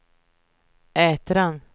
Ätran